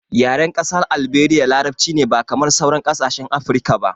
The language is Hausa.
Yaren ƙasar Alberia larabci ne ba kamar sauran kasashen Afirka ba